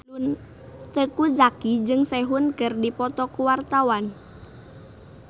Teuku Zacky jeung Sehun keur dipoto ku wartawan